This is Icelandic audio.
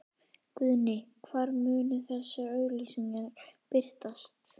Guðný: Hvar munu þessar auglýsingar birtast?